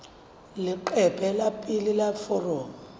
leqephe la pele la foromo